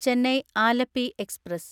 Chennai Alleppey express